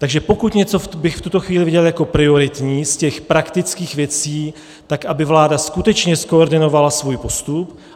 Takže pokud bych něco v tuto chvíli viděl jako prioritní z těch praktických věcí, tak aby vláda skutečně zkoordinovala svůj postup.